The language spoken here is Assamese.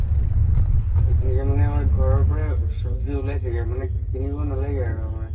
এইখিনি সময়ত ঘৰৰ পাই সব্জি উলাই থাকে মানে কিনিব নালাগে আৰু আমাৰ